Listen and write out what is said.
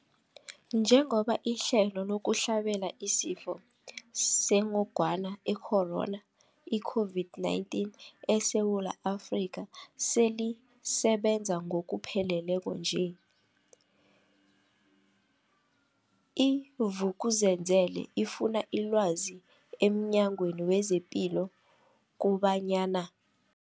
Njengoba ihlelo lokuhlabela isiFo sengogwana i-Corona, i-COVID-19, eSewula Afrika selisebenza ngokupheleleko nje, i-Vuk'uzenzele ifune ilwazi emNyangweni wezePilo kobanyana.